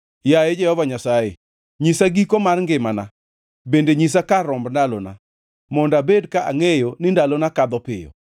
Yaye Jehova Nyasaye, nyisa giko mar ngimana bende nyisa kar romb ndalona; mondo abed ka angʼeyo ni ndalona kadho piyo.